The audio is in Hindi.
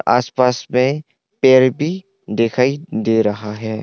आस पास में पेड़ भी दिखाई दे रहा है।